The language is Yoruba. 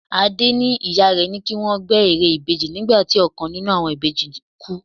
Adé ní ìyá rẹ ní kí wọ́n gbẹ́ ère ìbejì nígbà tí ọ̀kan nínú àwọn ìbejì kú.